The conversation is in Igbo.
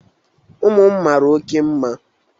ụmụ m mara oke mma